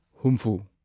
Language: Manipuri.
ꯍꯨꯝꯐꯨ